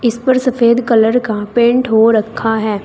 इस पर सफेद कलर का पेंट हो रखा है।